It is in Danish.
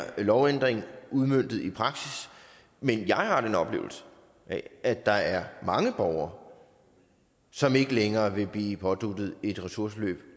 lovændring udmøntet i praksis men jeg har en oplevelse af at der er mange borgere som ikke længere vil blive påduttet et ressourceforløb